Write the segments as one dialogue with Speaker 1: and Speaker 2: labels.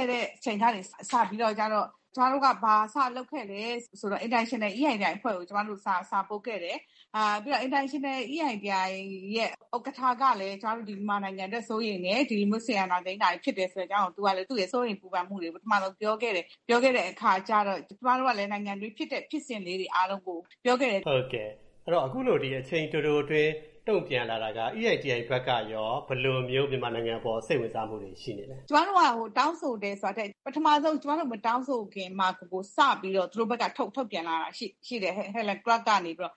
Speaker 1: ဲ့တဲ့အချိန်ကနေ စပြီးတော့ ကျမတို့ ဘာစလုပ်ခဲ့သလဲဆိုတော့ International EITI အဖွဲ့ကို ကျမတို့က စာပို့ခဲ့တယ် ပြီးတော့ International EITI အဖွဲ့ရဲ့ ဥက္ကဋ္ဌကလည်း ကျမတို့ မြန်မာနိုင်ငံအတွက် စိုးရိမ်တယ်။ ဒီလို အာဏာသိမ်းတာကို သူ့ရဲ့ စိုးရိမ်ပူပန်မှုတွေကို ပထမဆုံးပြောခဲ့တယ်။ ပြောခဲ့တဲ့အခါကျတော့ ကျမတို့ကလည်း နိုင်ငံအတွင်းဖြစ်တဲ့ ဖြစ်စဉ်လေးတွေ အားလုံးကို ပြောခဲ့တယ်။
Speaker 2: ဟုတ်ကဲ့ အခုလို အချိန်တိုတိုအတွင်း တုံ့ပြန်လာတာက EITI အဖွဲ့ကရော ဘယ်လိုမျိုး မြန်မာနိုင်ငံအပေါ် စိတ်ဝင်စားမှုတွေ ရှိနေသလဲ။
Speaker 1: ကျမတို့ တောင်းဆိုတယ်ဆိုတာထက် ပထမဦးဆုံး ကျမတို့ မတောင်းဆိုခင်မှာ စပြီးတော့ သူတို့ဘက်က ထုတ်ပြန်လာတာရှိတယ်။ EITI ရဲ့ Chair ဖြစ်တဲ့ Helen Clark ကနေပြီးတော့ သူ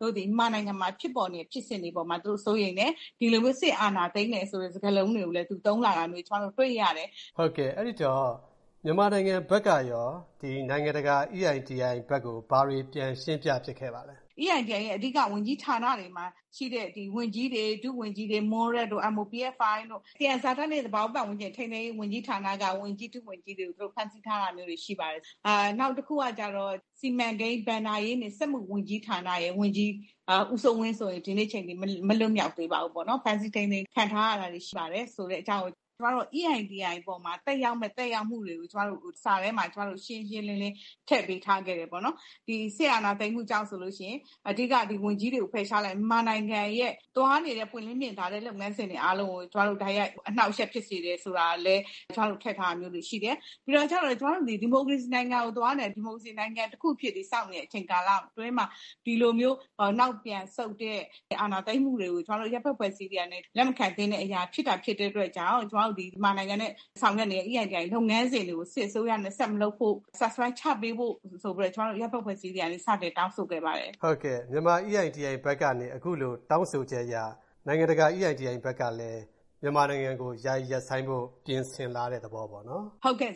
Speaker 1: တို့သည် မြန်မာနိုင်ငံမှာ ဖြစ်ပေါ်နေတဲ့ ဖြစ်စဉ်တွေ အပေါ်မှာ သူတို့ စိုးရိမ်တယ်။ ဒီလိုမျိုး စစ်အာဏာသိမ်းတယ်ဆိုတဲ့ စကားလုံးတွေကိုလည်း သူ သုံးလာတာမျိုး ကျမတို့ တွေ့ရတယ်။
Speaker 2: ဟုတ်ကဲ့ အဲဒီတော့ မြန်မာနိုင်ငံဘက်ကရော ဒီလိုမျိုး နိုင်ငံတကာ EITI ဘက်ကို ဘာတွေပြန်ရှင်းပြဖြစ်ခဲ့ပါသလဲ။
Speaker 1: EITI ရဲ့အဓိက ဝန်ကြီးဌာနတွေမှာရှိတဲ့ ဝန်ကြီးတွေ ဒုဝန်ကြီးတွေ MOPFI တို့ သံယံဇာတနဲ့ သဘာဝပတ်ဝန်းကျင်နဲ့ ထိန်းသိမ်းရေး ဝန်ကြီးဌာနက ဝန်ကြီးတွေ ဒုဝန်ကြီးတွေကို သူတို့ ဖမ်းဆီးထားတာမျိုးတွေရှိပါတယ်။ နောက်တခုကတော့ စီမံကိန်း၊ ဘဏ္ဍာရေးနဲ့ စက်မှုဝန်ကြီး ဌာနက ဝန်ကြီး ဦးစိုးဝင်းဆိုရင် ဒီကနေ့အချိန်အထိ မလွှတ်မြောက်သေးပါဘူး။ ဖမ်းဆီးထိန်းသိမ်းခံထားရတာတွေရှိပါတယ် ဆိုတဲ့အကြောင်းကို ကျမတို့ EITI အပေါ်မှာ သက်ရောက်မယ့် သက်ရောက်မှုတွေကို ကျမတို့ စာထဲမှာ ကျမတို့ ရှင်းရှင်းလင်းလင်း ထည့်ပေးထားခဲ့တယ်ပေါ့နော်။ ဒီစစ်အာဏာသိမ်းမှုကြောင့် အဓိက ဝန်ကြီးတွေကို ဖယ်ရှားလိုက်တယ် ။ မြန်မာနိုင်ငံရဲ့ သွားနေတဲ့ ပွင့်လင်းမြင်သာတဲ့ လုပ်ငန်းစဉ်တွေအားလုံးကို ကျမတို့ တိုက်ရိုက်အနှောင့်အယှက်ဖြစ်စေတယ်ဆိုတာလည်း ကျမတို့ ထည့်ထားတာမျိုးတွေရှိတယ်။ ဒါကျတော့ ကျမတို့သည် ဒီမိုကရေစီနိုင်ငံကိုသွားနေတာ ၊ ဒီမိုကရေစီနိုင်ငံတခုအဖြစ် တည်ဆောက်နေတဲ့ အချိန်ကာလအတွင်းမှာ ဒီလိုမျိုးနောက်ပြန်ဆုတ်တဲ့ အာဏာသိမ်းမှုတွေကို ကျမတို့ အရပ်ဘက်အဖွဲ့အစည်းတွေကနေ လက်မခံသင့်တဲ့အရာဖြစ်တာဖြစ်တဲ့အတွက် ကျမတို့ မြန်မာနိုင်ငံနဲ့ ဆောင်ရွက်နေတဲ့ EITI လုပ်ငန်းစဉ်တွေကို စစ်အစိုးရနဲ့ ဆက်မလုပ်ဖို့ suspend ချပေးဖို့ ဆိုပြီးတော့ ကျမတို့ အရပ်ဘက်အဖွဲ့အစည်းတွေကနေ စတင်တောင်းဆိုခဲ့ပါတယ်။
Speaker 2: ဟုတ်ကဲ့ မြန်မာ EITI ဘက်ကနေ အခုလို တောင်းဆိုချက်အရ နိုင်ငံတကာ EITI ဘက်ကလည်း မြန်မာနိုင်ငံကို ယာယီရပ်ဆိုင်းဖို့ ပြင်ဆင်လာတဲ့သဘောပေ့ါနော်။
Speaker 1: ဟုတ်ကဲ့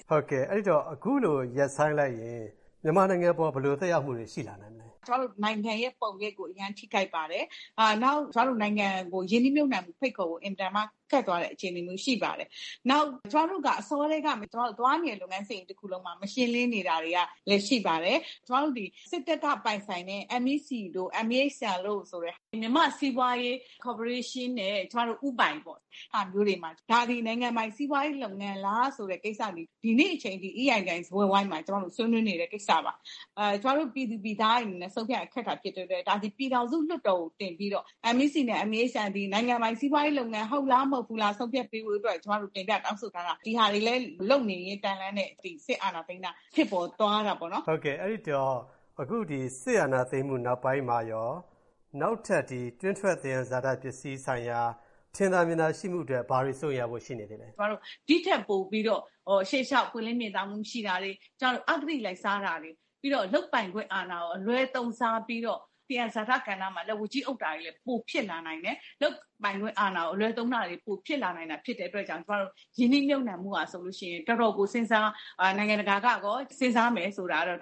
Speaker 2: အဲဒီတော့ အခုလို ရပ်ဆိုင်းလိုက်ရင် မြန်မာနိုင်ငံအပေါ် ဘယ်လိုသက်ရောက်မှုတွေ ရှိလာနိုင်မလဲ။
Speaker 1: ကျမတို့ နိုင်ငံရဲ့ ပုံရိပ်ကို အရမ်းထိခိုက်ပါတယ်။ နောက် ကျမတို့ နိုင်ငံကို ရင်းနှီးမြှုပ်နှံမှု ဖိတ်ခေါ်ဖို့ အင်မတန်မှ ခက်သွားတဲ့အခြေအနေမျိုးရှိပါတယ်။ နောက် ကျမတို့က အစောကတည်းကနေ သွားတဲ့နေတဲ့ လုပ်ငန်းစဉ်ကြီးတခုလုံးမှာ မရှင်းလင်းနေတာတွေက ရှိပါတယ်။ ကျမတို့သည် စစ်တပ်က ပိုင်ဆိုင်တဲ့ MEC တို့ MEHL ဆိုတဲ့ မြန်မာ့စီးပွားရေး ကော်ပိုရေးရှင်းနဲ့ ဦးပိုင်ပေါ့ ။ ဒါတွေက နိုင်ငံပိုင် စီးပွားရေးလုပ်ငန်းလားဆိုတာ ဒီနေ့အချိန်အထိ EITI စားပွဲဝိုင်းမှာ ဆွေးနွေးနေတဲ့ ကိစ္စပါ။ ကျမတို့ ပြည်သူပြည်သားတွေအနေနဲ့ ဆုံးဖြတ်ရတာ ခက်တဲ့အတွက် ဒါသည် ပြည်ထောင်စုလွှတ်တော်ကို တင်ပြီးတော့ MEC နဲ့ MEHL သည် နိုင်ငံပိုင် စီးပွားရေးလုပ်ငန်း ဟုတ်လား မဟုတ်ဘူးလား ဆုံးဖြတ်ပေးဖို့အတွက် ကျမတို့ တင်ပြတောင်းဆိုထားတာ။ ဒါတွေလည်း လုပ်နေရင်းတန်းလန်းနဲ့ ဒီစစ်အာဏာသိမ်းတာ ဖြစ်သွားတာပေါ့နော်။
Speaker 2: ဟုတ်ကဲ့ အဲဒီတော့ အခုဒီ စစ်အာဏာသိမ်းမှု နောက်ပိုင်းမှာရော နောက်ထပ်ဒီ တွင်းထွက် သံယံဇာတပစ္စည်းဆိုင်ရာ ထင်သာမြင်သာရှိမှုအတွက် ဘာတွေ စိုးရိမ်ရဖွယ်ရှိနေသေးသလဲ။
Speaker 1: ကျမတို့ ဒီထက်ပိုပြီးတော့ ရှေ့လျောက် ပွင့်လင်းမြင်သာမှု မရှိတာတွေ၊ ကျမတို့ အဂတိလိုက်စားတာတွေ ပြီးတော့ လုပ်ပိုင်ခွင့်အာဏာကို အလွဲသုံးစားပြီးတော့ သံယံဇာတ ကဏ္ဍမှာ လက်ဝါးကြီးအုပ်တာတွေ ပိုဖြစ်လာနိုင်တယ်။ လုပ်ပိုင်ခွင့်အာဏာကို အလွဲသုံးတာတွေ ပိုဖြစ်လာနိုင်တာ ဖြစ်တဲ့အတွက် ကျမတို့ ရင်းနှီးမြှုပ်နှံမှုက ဆိုရင် တော်တော်ကို နိုင်ငံတကာကရော စဉ်းစားမယ်ဆိုတာကတော့